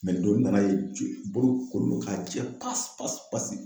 nin don, n nana ye joli bolo kolen don k'a jɛ pasi pasi pasi.